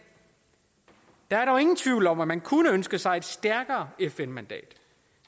der er dog ingen tvivl om at man kunne ønske sig et stærkere fn mandat